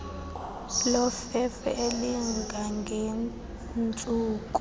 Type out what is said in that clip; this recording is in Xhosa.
lofefe elinga ngentsuku